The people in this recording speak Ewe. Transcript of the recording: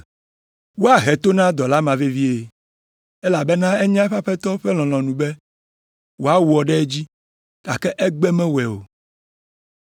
“Woahe to na dɔla ma vevie, elabena enya eƒe aƒetɔ ƒe lɔlɔ̃nu be wòawɔ ɖe edzi, gake egbe mewɔe o.